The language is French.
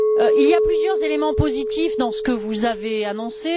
Il y a plusieurs éléments positifs dans ce que vous avez annoncé.